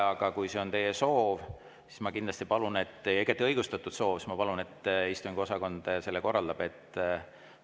Aga kui see on teie soov – ja see on igati õigustatud soov –, siis ma palun, et istungiosakond selle korraldaks.